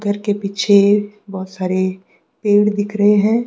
घर के पीछे बहोत सारे पेड़ दिख रहे है।